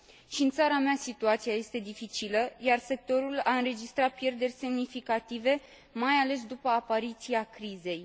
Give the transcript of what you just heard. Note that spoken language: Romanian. Și în țara mea, situația este dificilă, iar sectorul a înregistrat pierderi semnificative, mai ales după apariția crizei.